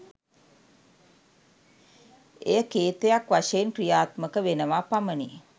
එය කේතයක් වශයෙන් ක්‍රියාත්මක වෙනවා පමණි.